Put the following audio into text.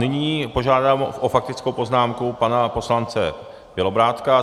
Nyní požádám o faktickou poznámku pana poslance Bělobrádka.